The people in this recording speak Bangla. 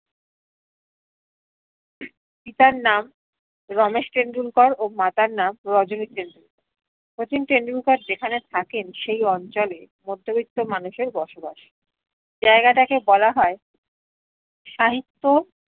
পিতা নাম রমেশ টেন্ডুলকার ও মাতার নাম রজনী টেন্ডুলকার শচীন টেন্ডুলকার যেখানে থাকেন সেই অঞ্চলে মধ্যবৃত্ত মানুষের বসবাস জায়গাটাকে বলা হয় সাহিত্য